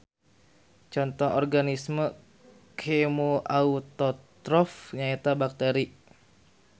Conto Organisme Kemoautotrof nyaeta bakteri.